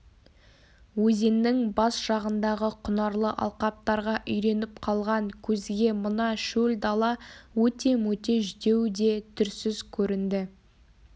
өзеннің бас жағындағы құнарлы алқаптарға үйреніп қалған көзге мына шөл дала өте-мөте жүдеу де түрсіз көрінді